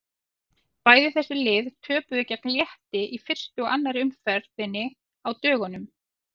Bæði þessi lið töpuðu gegn Létti í fyrstu og annarri umferðinni á dögunum.